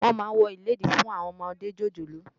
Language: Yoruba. Wòn má wò ilédí fún áwòn òmòdé jójólóò